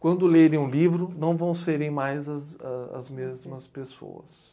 Quando lerem um livro, não vão serem mais as a as mesmas pessoas.